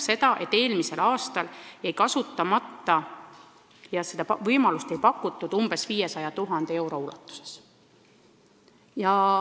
Seega jäi eelmisel aastal kasutamata umbes 500 000 eurot.